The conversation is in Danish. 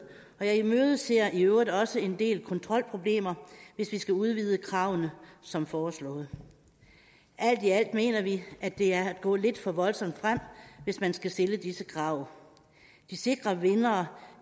og jeg imødeser i øvrigt også en del kontrolproblemer hvis vi skal udvide kravene som foreslået alt i alt mener vi at det er at gå lidt for voldsomt frem hvis man skal stille disse krav de sikre vindere